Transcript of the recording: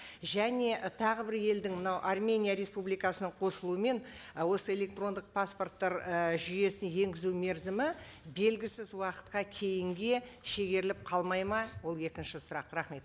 және ы тағы бір елдің мынау армения республикасының қосылуымен ы осы электрондық паспорттар і жүйесін енгізу мерзімі белгісіз уақытқа кейінге шегеріліп қалмайды ма ол екінші сұрақ рахмет